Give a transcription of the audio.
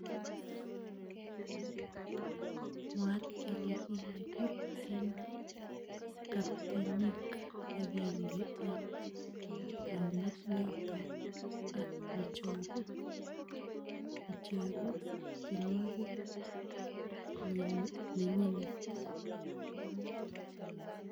Mwaat kele kikimuut en kabtyeeniik agenge en towunit noton ak necheruu tyenwokik nenyinet .